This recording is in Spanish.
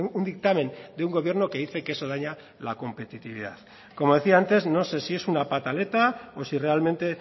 un dictamen de un gobierno que dice que eso daña la competitividad como decía antes no sé si es una pataleta o si realmente